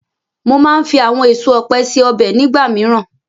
Mo máa ń fi àwọn èso ọ̀pẹ ṣe ọbẹ̀ nígbà míràn.